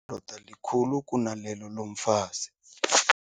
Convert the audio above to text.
doda likhulu kunalelo lomfazi.